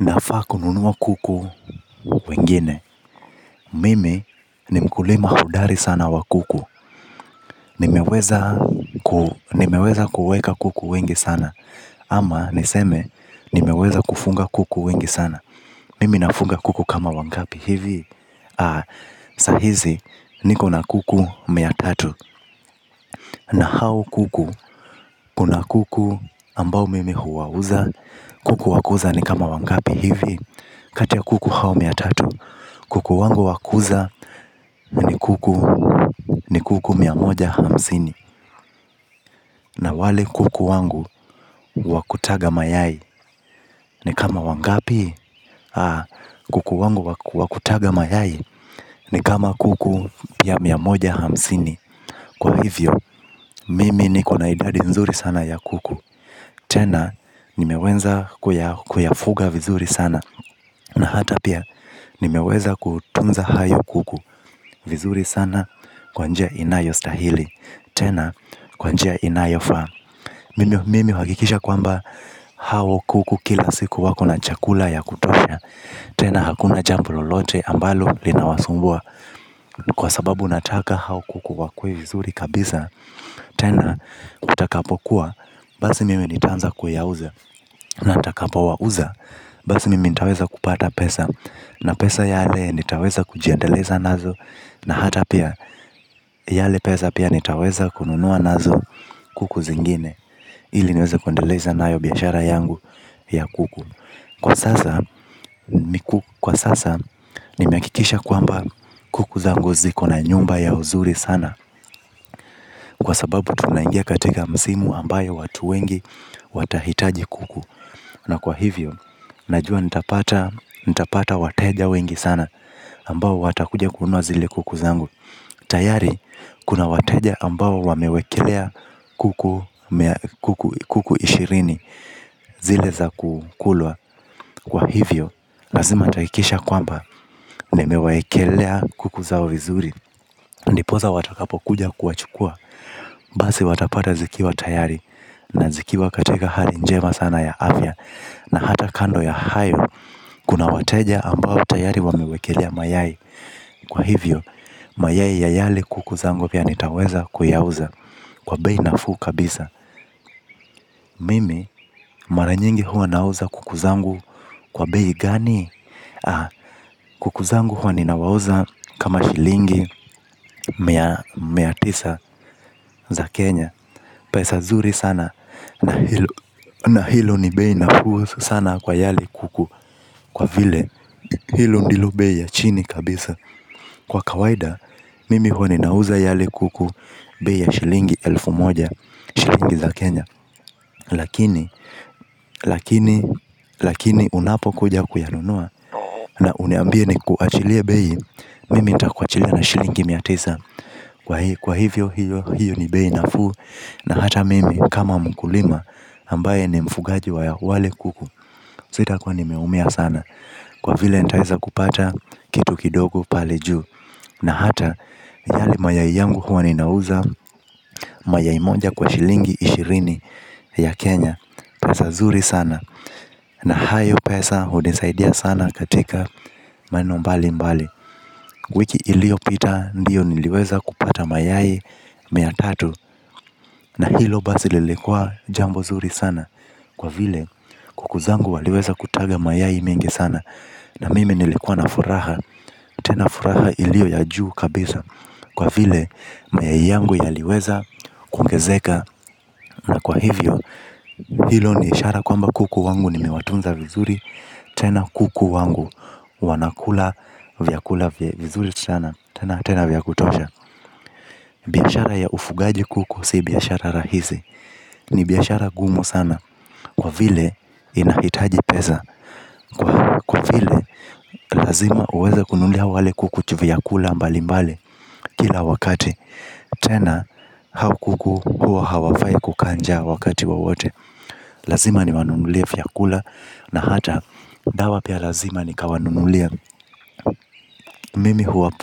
Nafaa kununua kuku wengine, mimi ni mkulima hodari sana wa kuku. Nimeweza kuweka kuku wengi sana, ama niseme nimeweza kufunga kuku wengi sana. Mimi nafunga kuku kama wangapi hivi, sahizi nikona kuku mia tatu na hao kuku, kuna kuku ambao mimi huwauza, kuku wakuuza ni kama wangapi hivi. Kati ya kuku hao mia tatu. Kuku wangu wa kuuza ni kuku miamoja hamsini. Na wale kuku wangu wa kutaga mayai. Ni kama wangapi. Kuku wangu wakutaga mayai. Ni kama kuku ya miamoja hamsini. Kwa hivyo, mimi nikona idadi nzuri sana ya kuku. Tena, nimeweza kuyafuga vizuri sana na hata pia, nimeweza kutunza hayo kuku. Vizuri sana kwanjia inayo stahili tena kwa njia inayo faa. Mimi huhakikisha kwamba hao kuku kila siku wako na chakula ya kutosha. Tena hakuna jambo lolote ambalo linawasumbua kwa sababu nataka hao kuku wakue vizuri kabisa. Tena kutakapokuwa basi mimi nitaanza kuyauza na nitakapo wauza basi mimi nitaweza kupata pesa na pesa yale nitaweza kujiendeleza nazo na hata pia yale pesa pia nitaweza kununua nazo kuku zingine ili niweze kuendeleza nayo biashara yangu ya kuku. Kwa sasa nimehakikisha kwamba kuku zangu ziko na nyumba yao zuri sana kwa sababu tunangia katika msimu ambayo watu wengi watahitaji kuku na kwa hivyo, najua nitapata wateja wengi sana ambao watakuja kununua zile kuku zangu. Tayari kuna wateja ambao wamewekelea kuku ishirini zile za kukulwa kwa hivyo, lazima nitahakikisha kwamba nimewaekelea kuku zao vizuri. Ndiposa watakapo kuja kuwachukua basi watapata zikiwa tayari na zikiwa katika hali njema ya afya. Na hata kando ya hayo kuna wateja ambao tayari wamewekelea mayai. Kwa hivyo, mayai ya yale kuku zangu pia nitaweza kuyauza. Kwa bei nafuu kabisa. Mimi mara nyingi huwa nauza kuku zangu kwa bei gani. Kuku zangu huwa ninawauza kama shilingi mia tisa za Kenya. Pesa zuri sana na hilo ni bei nafuu sana kwa yale kuku kwa vile. Hilo ndilo bei ya chini kabisa. Kwa kawaida mimi huwa ninauza yale kuku bei ya shilingi elfu moja shilingi za Kenya Lakini, lakini, lakini unapo kuja kuyanunua na uniambie nikuachilie bei. Mimi nitakuachilia na shilingi mia tisa. Kwa hivyo hiyo ni bei nafuu na hata mimi kama mkulima ambae ni mfugaji wa wale kuku sita kuwa nimeumia sana kwa vile nitaweza kupata kitu kidogo pale juu. Na hata yale mayai yangu huwa ninauza. Mayai moja kwa shilingi ishirini ya Kenya. Pasa zuri sana. Na hayo pesa hunisaidia sana katika maneno mbali mbali wiki iliyopita ndiyo niliweza kupata mayai mia tatu. Na hilo basi lillikua jambo zuri sana kwa vile kuku zangu waliweza kutaga mayai mingi sana. Na mimi nilikua na furaha tena furaha iliyo ya juu kabisa kwa vile mayai yangu yaliweza kuongezeka. Na kwa hivyo hilo ni ishara kwamba kuku wangu nimewatunza vizuri tena kuku wangu wanakula vyakula vizuri sana tena tena vyakutosha biashara ya ufugaji kuku si biashara rahisi ni bashara gumu sana kwa vile inahitaji pesa kwa vile lazima uweze kununulia wale kuku vyakula mbali mbali kila wakati tena hao kuku hua hawafai kukaa njaa wakati wowote lazima niwanunulie vyakula na hata dawa pia lazima ni kawanunulie.